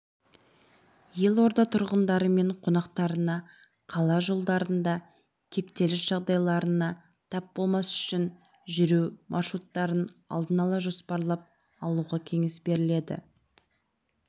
елорда тұрғындары мен қонақтарына қала жолдарында кептеліс жағдайларына тап болмас үшін жүру маршруттарын алдын ала жоспарлап алуға кеңес беріледі